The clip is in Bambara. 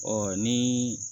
Ɔ ni